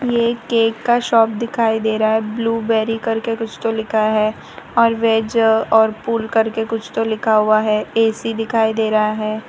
ये एक केक का शॉप दिखाई दे रहा है ब्लूबेरी करके कुछ तो लिखा है और वेज और पुल करके कुछ तो लिखा हुआ है ए_सी दिखाई दे रहा है।